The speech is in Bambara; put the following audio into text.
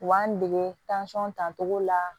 U b'an dege dancogo la